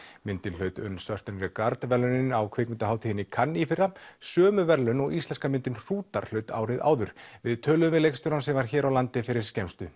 myndin hlaut un Certain Regard verðlaunin á kvikmyndahátíðinni í Cannes í fyrra sömu verðlaun og íslenska myndin hrútar hlaut árið áður við töluðum við leikstjórann sem var hér á landi fyrir skemmstu